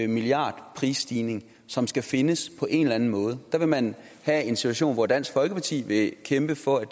milliardprisstigning som skal findes på en eller anden måde der vil man have en situation hvor dansk folkeparti vil kæmpe for at